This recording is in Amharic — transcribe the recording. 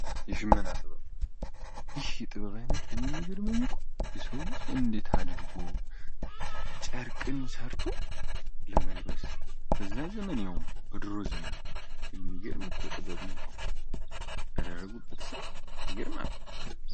የሺመና ጥበብ ይህ የሚገርመኝ እኮ እንዴት አድርጎ ነው የሰው ልጅ ጨርቅን ሰርቶ ለመልበስ በድሮ ዘመን ያውም በድሮ ዘመን የሚገርም ጥበብ ነው እኮ! ያደረጉት ስራ ይገርማል!